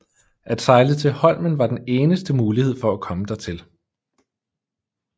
At sejle til Holmen var den eneste mulighed for at komme dertil